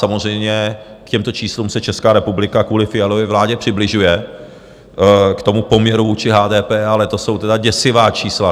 Samozřejmě k těmto číslům se Česká republika kvůli Fialově vládě přibližuje, k tomu poměru vůči HDP, ale to jsou teda děsivá čísla.